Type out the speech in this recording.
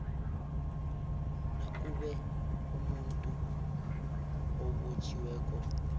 nakube umuntu obotjhiweko